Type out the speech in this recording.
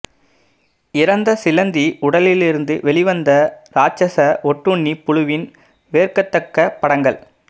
இறந்த சிலந்தி உடலிலிருந்து வெளிவந்த ராட்சத ஒட்டுண்ணி புழுவின் வெறுக்கத்தக்க படங்கள்